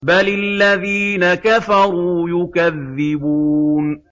بَلِ الَّذِينَ كَفَرُوا يُكَذِّبُونَ